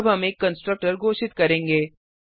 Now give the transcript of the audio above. अब हम एक कंस्ट्रक्टर घोषित करेंगे